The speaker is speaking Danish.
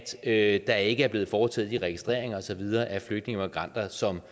at der ikke er blevet foretaget de registreringer og så videre af flygtninge og migranter som